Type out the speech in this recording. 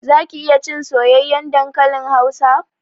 Zaki iya cin soyayyen dankalin hausa?